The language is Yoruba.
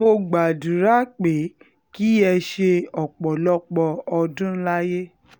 mo gbàdúrà pé kí ẹ ṣe ọ̀pọ̀lọpọ̀ ọdún láyé